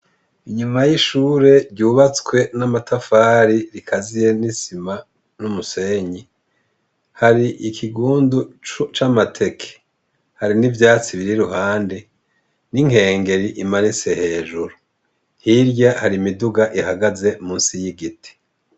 Inyuma y'ishure ryubatswe n'amatafari, rikaziye n'isima n'umusenyi, hari ikigundu c'amateke. Hari n'ivyatsi biri iruhande n'inkengeri imanitse hejuru. Hirya hari imiduga ihagaze musi y'igiti.